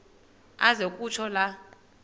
aze kutsho la